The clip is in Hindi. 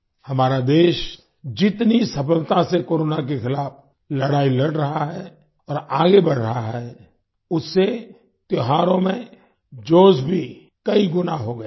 हमारा देश जितनी सफलता से कोरोना के खिलाफ लड़ाई लड़ रहा है और आगे बढ़ रहा है उससे त्योहारों में जोश भी कई गुना हो गया है